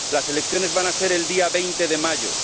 Las elecciones van a ser el día 20 de mayo.